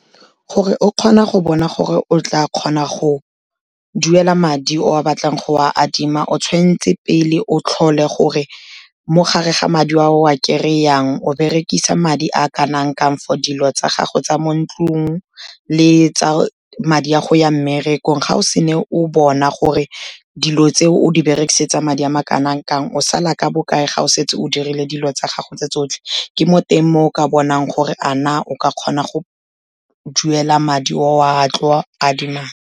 Gore o kgona go bona gore o tla kgona go duela madi o a batlang go a adima, o tshwan'tse pele o tlhole gore mo gare ga madi a o a kry-ang, o berekisa madi a kanang kang for dilo tsa gago tsa mo ntlung le tsa madi a go ya mmerekong, ga o se ne o bona gore dilo tseo o di berekisetsa madi a ma kanang kang, o sala ka bokae ga o setse o dirile dilo tsa gago tse tsotlhe, ke mo teng moo o ka bonang gore a na o ka kgona go duela madi o a tlo adimang.